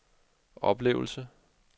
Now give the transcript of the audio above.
oplevelse